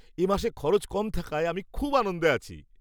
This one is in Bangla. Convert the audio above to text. এ মাসে খরচ কম থাকায় আমি খুব আনন্দে আছি।